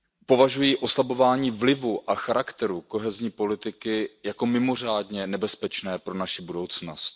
Považuji oslabování vlivu a charakteru kohezní politiky jako mimořádně nebezpečné pro naši budoucnost.